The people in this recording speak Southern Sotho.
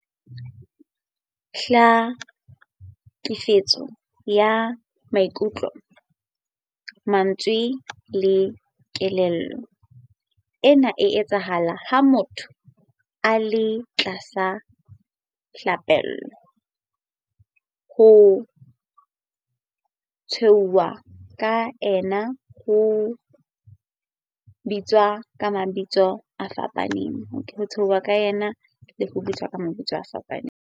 Tlhekefetso ka maikutlo, mantswe le kelello- Ena e etsahala ha motho a le tlasa tlhapaolo, ho tshehwa ka ena le ho bitswa ka mabitso kgafetsa.